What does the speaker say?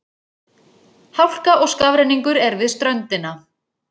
Hálka og skafrenningur er við ströndina